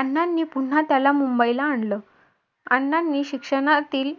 अण्णांनी पुन्हा त्याला मुंबईला आणलं. अण्णांनी शिक्षणातील